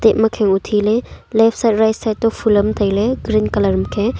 te makhange uthi le leftside rightside toh phul am tai ley red colour makhange.